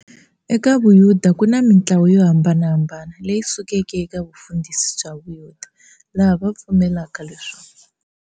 Eka vuyuda kuna mintlawa yo hambanahambana, leyi sukeke eka vufundhisi bya vuyuda, laha va pfumelaka leswaku.